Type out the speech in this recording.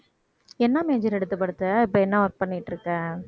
என்னா major எடுத்த படிச்ச இப்ப என்ன work பண்ணிட்டு இருக்க